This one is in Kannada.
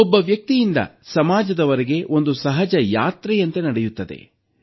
ಒಬ್ಬ ವ್ಯಕ್ತಿಯಿಂದ ಸಮಾಜದವರೆಗೆ ಒಂದು ಸಹಜ ಯಾತ್ರೆಯಂತೆ ನಡೆಯುತ್ತದೆ